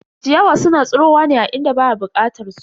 Ciyawa suna tsirowa ne a inda ba a bukatar su.